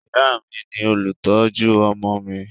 Ìyá mi ni olùtọ́jú ọmọ mi